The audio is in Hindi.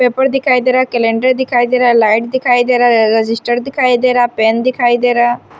पेपर दिखाई दे रहा है कैलेंडर दिखाई दे रहा है लाइट दिखाई दे रहा है रजिस्टर दिखाई दे रहा है पेन दिखाई दे रहा है।